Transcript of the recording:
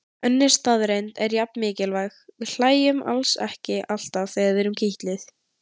Önnur staðreynd er jafn mikilvæg: Við hlæjum alls ekki alltaf þegar við erum kitluð.